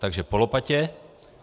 - Takže po lopatě.